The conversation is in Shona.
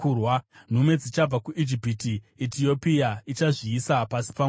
Nhume dzichabva kuIjipiti; Etiopia ichazviisa pasi paMwari.